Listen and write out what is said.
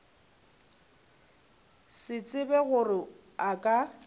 se tsebe gore a ka